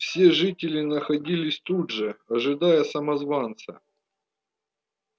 все жители находились тут же ожидая самозванца